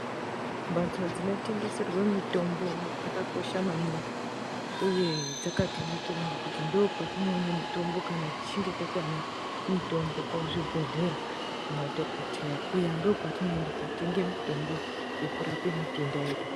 Mhatso dzinotengeserwe mitombo dzakakosha maningi, uye dzakatinakira ngekuti ndiko kwetinoone mitombo kana tichinge tatame mitombo kuzvibhodhlera, kumadhogodheya kuya ndiko kwetinoenda kotenga mitombo yekurape matenda edu.